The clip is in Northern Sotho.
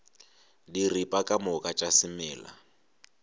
diripa ka moka tša semela